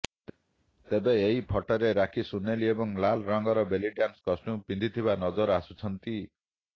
ତେବେ ଏହି ଫଟୋରେ ରାକ୍ଷୀ ସୁୁନେଲି ଏବଂ ଲାଲ୍ ରଙ୍ଗର ବେଲି ଡ୍ୟାନ୍ସ କଷ୍ଟ୍ୟୁମ୍ ପିନ୍ଧିଥିବା ନଜର ଆସୁଛନ୍ତି